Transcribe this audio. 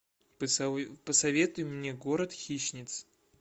посоветуй мне город хищниц